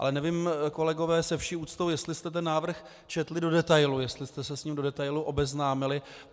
Ale nevím, kolegové, se vší úctou, jestli jste ten návrh četli do detailu, jestli jste se s ním do detailu obeznámili.